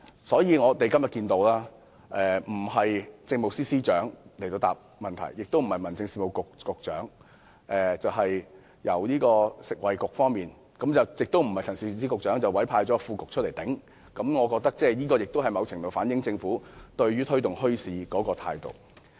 正因如此，今天到本會答辯的官員既非政務司司長，也非民政事務局局長，而是食物及衞生局的代表，更非陳肇始局長本人，而是由副局長頂替，我覺得這某程度也反映了政府推動墟市的態度。